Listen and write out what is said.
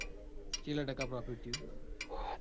ચેટલા ટકા profit થયું.